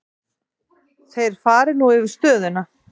Þeir fari nú yfir stöðuna.